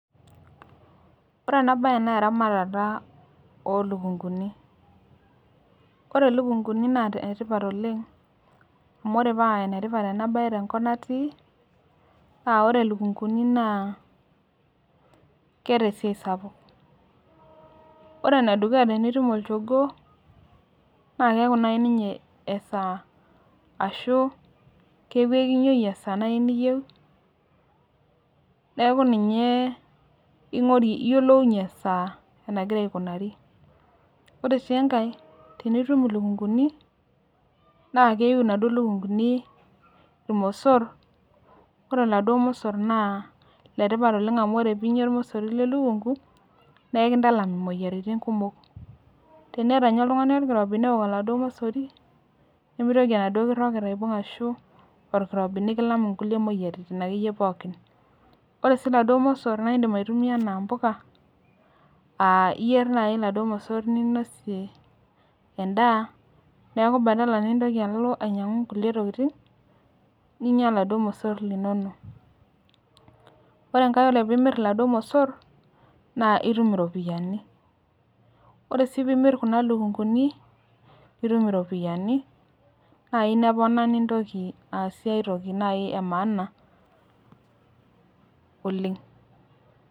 Ore enabaye neeramatata olukunguni. Kore lukunguni naa netipat oleng' amu ore paa enetipat enabaye tenkop natii naa ore lukunguni naa keata esiai sapuk. Ore enedukuya tenitum olchogoo naakeaku nai ninye esaa ashuu kekiyounyeki esaa nai niyeu neaku ninyee ing'orie iyiolounye esaa enagira aikunari. Ore sii engai tinitum ilukunguni naakeiu naduo lukunguni ilmossor ore laduo mossor naa letipat oleng' amu ore piinya ormosori le lukungu, neeikintalam imuoyaritin kumok. Teneata ninye oltung'ani olkirobi neok oladuo mosori nemeitoki enaduo kirroget aibung' ashu olkirobi nikilam inkulie muoyaritin akeyie pookin. Ore sii laduo mossor naaindim aitumia anaa mpoka, [aa] iyierr nai laduo mossor ninosie endaa neaku  badala nintoki alo ainyang'u nkulie tokitin ninya oladuo mossorr linono. Ore engai ore piimirr laduo mossor naa itum iropiyani. Ore aii piimirr kuna lukunguni nitum iropiani nai nepona nintoki aasie aitoki nai emaana oleng'.